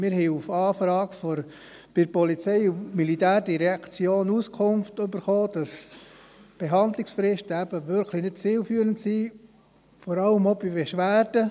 Wir haben auf Anfrage bei der POM die Auskunft erhalten, dass Verhandlungsfristen eben wirklich nicht zielführend sind, vor allem auch bei Beschwerden.